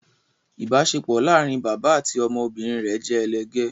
ibaṣepọ láarin bàbá àti ọmọ obìrin rẹ jẹ elegè